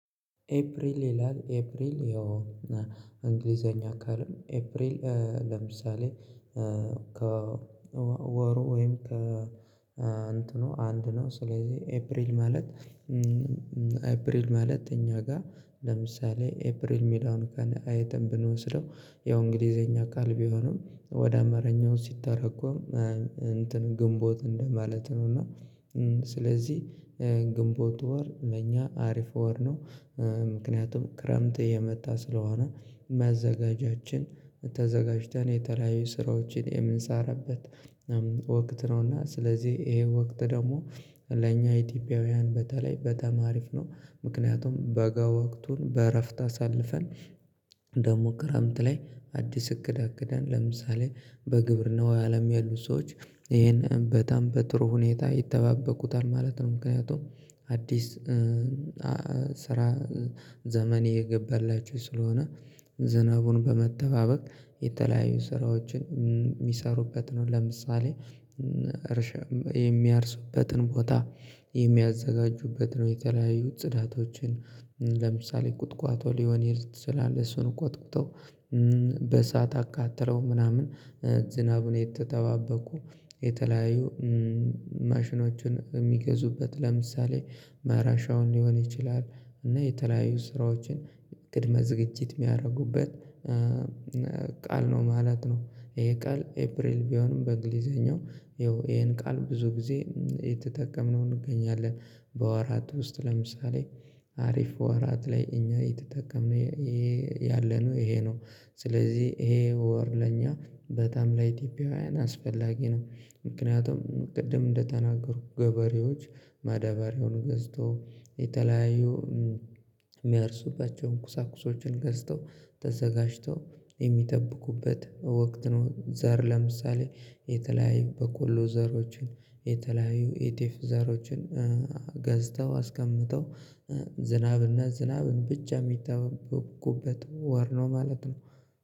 ኤፕሪል ይላል ኤፕሪል ይሆን እና እንግሊዘኛ ቃል ነው። ኤፕሪል ለምሳሌ ከ ከወሩ ወይም ከእንትኑ አንድ ነው። ስለዚህ ኤፕሪል ማለት ኤፕሪል ማለት እኛ ጋር ለምሳሌ ኤፕሪል ሚለውን ቃል አይተን ብንወስደው ያው እንግሊዘኛ ቃል ቢሆንም ወደ አማርኛው ሲተረጎም እንትን ግንቦት እንደማለት ነው። እና ስለዚህ ግንቦት ወር ለእኛ አሪፍ ወር ነው፤ ምክንያቱም ክረምት እየመጣ ስለሆነ መዘጋጃችን ተዘጋጅተን የተለያዩ ስራዎችን የምንሰራበት ወቅት ነው። እና ስለዚህ ይሄ ወቅት ደግሞ ለእኛ ኢትዮጵያውያን በተለይ በተማሪፍ ነው። ምክንያቱም በጋ ወቅቱን በእረፍት አሳልፈን ደግሞ ክረምት ላይ አዲስ እቅድ አቅደን ለምሳሌ በግብርናው አለም ያሉት ሰዎች ይሄን በጣም በጥሩ ሁኔታ ይጠባበቁታል ማለት ነው። ምክንያቱም አዲስ ስራ ዘመን እየገባላችው ስለሆነ ዝናቡን በመጠባበቅ የተለያዩ ስራዎችን የሚሰሩበት ነው። ለምሳሌ የሚያርሱበትን ቦታ የሚያዘጋጁበት ነው። የተለያዩት ጽዳቶችን ለምሳሌ ቁጥቋጦ ሊሆን ይችላል እሱን ቆጥቁጠው በእሳት አቃጥለው ምናምን ዝናቡን የተጠባበኩ የተለያዩ ማሽኖች የሚገዙበት ለምሳሌ ማረሻውን ሊሆን ይችላል፤ እና የተለያዩ ስራዎችን ቅድመ ዝግጅት የሚያደርጉበት ቃል ነው ማለት ነው። ይሄ ቃል ኤፕሪል ቢሆንም በእንግሊዘኛው ያው ይሄን ቃል ብዙ ጊዜ እየተጠቀምነውን እንገኛለን። በወራት ውስጥ ለምሳሌ አሪፍ ወራት ላይ እኛ የተጠቀምነው ያለነው ይሄ ነው። ስለዚህ ይሄ ወር ለኛ በጣም ለኢትዮጵያውያን አስፈላጊ ነው። ምክንያቱም ቅድም እንደተናገሩ ገበሬዎች ማደባሪያውን ገዝተው የተለያዩ የሚያርሱባቸውን እንቁሳቁሶችን ገዝተው ተዘጋጅተው የሚጠብቁበት ወቅት ነው። ዘር ለምሳሌ የተለያዩ በቆሎ ዘሮችን የተለያዩ የጤፍ ዘሮችን ገዝተው አስቀምጠው ዝናብና ዝናብን ብቻ የሚጠበቁበት ወር ነው ማለት ነው።